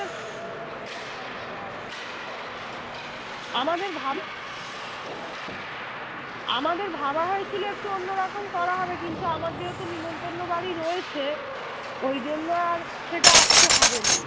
আমাদের ভাবা হয়েছিল একটু অন্যরকম করা হবে কিন্তু আমার যেহেতু নেমন্তণ বাড়ি রয়েছে ওই জন্য আর সেটা আজকে হবেনা